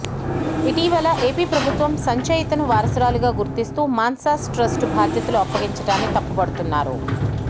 ఇటీవల ఏపీ ప్రభుత్వం సంచయితను వారసురాలిగా గుర్తిస్తూ మాన్సాస్ ట్రస్ట్ బాధ్యతలు అప్పగించడాన్ని తప్పుపడుతున్నారు